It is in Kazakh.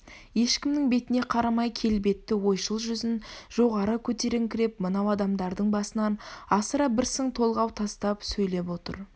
ешкімнің бетіне қарамай келбетті ойшыл жүзін жоғары көтеріңкіреп мынау адамдардың басынан асыра бір сың толғау тастап сөйлеп отыр